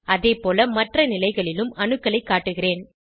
அதேபோல மற்ற நிலைகளிலும் அணுக்களைக் காட்டுகிறேன்